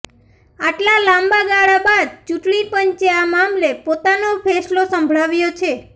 આટલા લાંબા ગાળા બાદ ચૂંટણી પંચે આ મામલે પોતાનો ફેસલો સંભળાવ્યો છે